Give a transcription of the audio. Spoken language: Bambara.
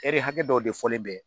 hakɛ dɔw de fɔlen bɛ